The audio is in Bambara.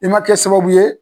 I man kɛ sababu ye.